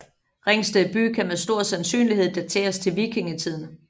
Ringsted by kan med stor sandsynlighed dateres til vikingetiden